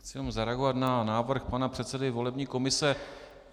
Chci jenom zareagovat na návrh pana předsedy volební komise.